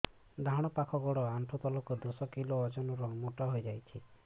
ଡାହାଣ ପାଖ ଗୋଡ଼ ଆଣ୍ଠୁ ତଳକୁ ଦଶ କିଲ ଓଜନ ର ମୋଟା ହେଇଯାଇଛି